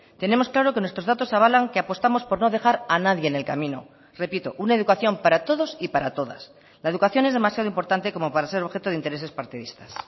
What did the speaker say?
tenemos claro que nuestros datos avalan que apostamos por no dejar a nadie en el camino repito una educación para todos y para todas la educación es demasiado importante como para ser objeto de intereses partidistas